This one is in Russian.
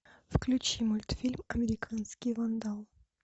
включи мультфильм американский вандал